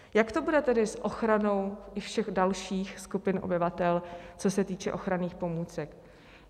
Jak to bude tedy s ochranou i všech dalších skupin obyvatel, co se týče ochranných pomůcek?